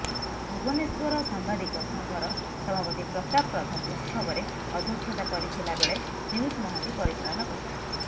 ଭୁବନେଶ୍ୱର ସାମ୍ବାଦିକ ସଂଘର ସଭାପତି ପ୍ରତାପ ପ୍ରଧାନ ଉତ୍ସବରେ ଅଧ୍ୟକ୍ଷତା କରିଥିଲା ବେଳେ ପିୟୂଷ ମହାନ୍ତି ପରିଚାଳନା କରିଥିଲେ